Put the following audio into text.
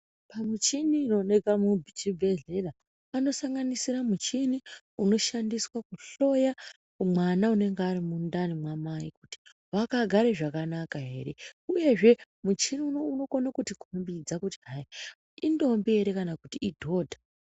Pamichini inoonekwa muchibhedhlera panosanganisire muchini inoshandiswe kuhloya mwana unonga ari mundani mwamai kuti wakagare zvakanaka ere uyezve muchini unowu unokone kutikhombidze kuti hai indombi ere kana kuti idhodha.